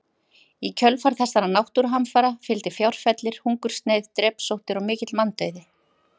Í kjölfar þessara náttúruhamfara fylgdi fjárfellir, hungursneyð, drepsóttir og mikill manndauði.